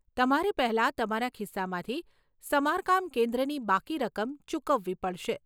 તમારે પહેલા તમારા ખિસ્સામાંથી સમારકામ કેન્દ્રની બાકી રકમ ચૂકવવી પડશે.